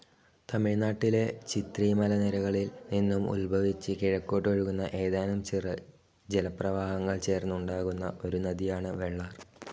തമിഴ്നാട്ടിലെ ചിത്രി മലനിരകളിൽ നിന്നും ഉത്ഭവിച്ച് കിഴക്കോട്ടൊഴുകുന്ന ഏതാനും ചെറു ജലപ്രവാഹങ്ങൾ ചേർന്ന് ഉണ്ടാകുന്ന ഒരു നദിയാണ് വെള്ളാർ.